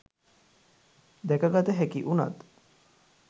දැකගත හැකි වුනත්